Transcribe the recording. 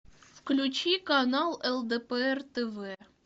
включи канал лдпр тв